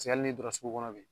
hali ni donna sugu kɔnɔ bi